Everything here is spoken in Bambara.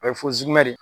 O ye de ye